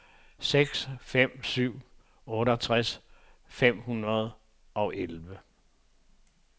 seks seks fem syv otteogtres fem hundrede og elleve